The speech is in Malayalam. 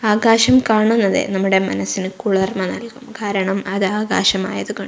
ആകാശം കാണുന്നതേ നമ്മുടെ മനസ്സിന് കുളിർമ നൽകും കാരണം അത് ആകാശം ആയതുകൊ--